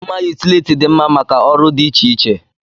Mma yutility dị mma maka ọrụ dị iche iche.